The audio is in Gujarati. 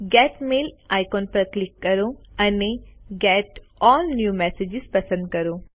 ગેટ મેઇલ આઇકોન પર ક્લિક કરો અને ગેટ અલ્લ ન્યૂ મેસેજીસ પસંદ કરો